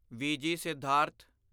VG Siddhartha